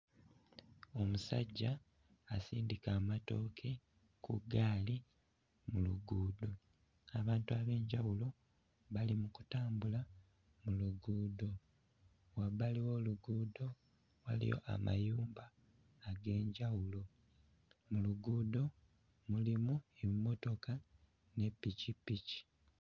Omusajja asindika amatooke ku ggaali mu luguudo, abantu ab'enjawulo bali mu kutambula mu luguudo, wabbali w'oluguudo waliyo amayumba ag'enjawulo, mu luguudo mulimu emmotoka ne ppikipiki.